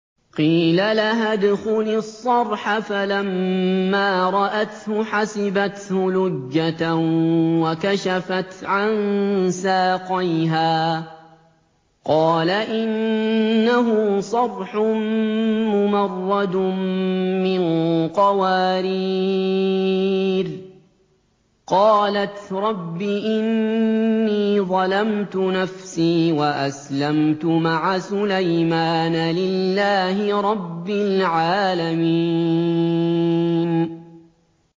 قِيلَ لَهَا ادْخُلِي الصَّرْحَ ۖ فَلَمَّا رَأَتْهُ حَسِبَتْهُ لُجَّةً وَكَشَفَتْ عَن سَاقَيْهَا ۚ قَالَ إِنَّهُ صَرْحٌ مُّمَرَّدٌ مِّن قَوَارِيرَ ۗ قَالَتْ رَبِّ إِنِّي ظَلَمْتُ نَفْسِي وَأَسْلَمْتُ مَعَ سُلَيْمَانَ لِلَّهِ رَبِّ الْعَالَمِينَ